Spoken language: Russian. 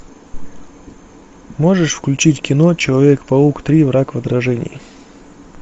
можешь включить кино человек паук три враг в отражении